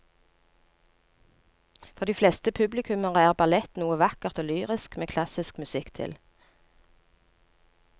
For de fleste publikummere er ballett noe vakkert og lyrisk med klassisk musikk til.